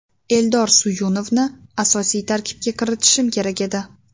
Eldor Suyunovni asosiy tarkibga kiritishim kerak edi.